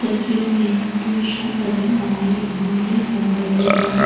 तस्वीर में toy shop नजर आ रहा है जहां ढेर सारा बेबी डॉल्स --